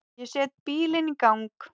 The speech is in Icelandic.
Ég set bílinn í gang.